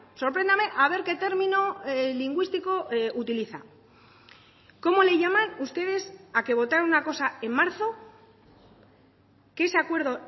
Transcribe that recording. sorpréndame a ver qué término lingüístico utiliza cómo le llaman ustedes a que votar una cosa en marzo que ese acuerdo